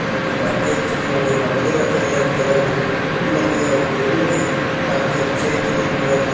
क्योंकि काफी अच्छी है और जो गमले रखे है रेड कलर में जो कि फूल लगे है और पेड़ लगे है काफी अच्छे है ग्रीन कलर के।